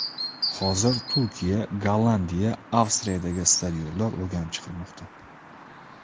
Hozir Turkiya, Gollandiya, Avstriyadagi stadionlar o‘rganib chiqilmoqda.